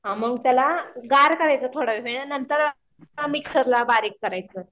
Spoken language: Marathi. हां मग त्याला गार करायचा थोडा वेळ नंतर मिक्सरला बारीक करायचं.